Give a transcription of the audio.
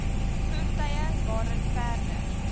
voertuie waarin perde